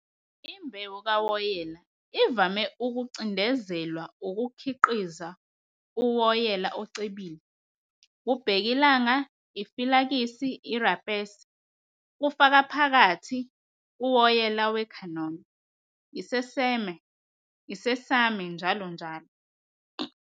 Imbewu kawoyela ivame ukucindezelwa ukukhiqiza uwoyela ocebile - ubhekilanga, ifilakisi, irapese, kufaka phakathi uwoyela we-canola, isesame, njll.